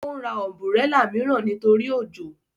Ó ra ọ̀nbúrẹlà mìíràn nítorí òjò